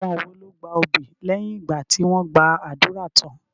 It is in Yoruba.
Àwọn wo ló gba obì lẹ́yìn ìgbà tí wọ́n gba ádùrá tán?